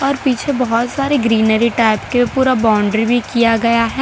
पीछे बहुत सारे ग्रीनरी टाइप के पूरा बाउंड्री भी किया गया है।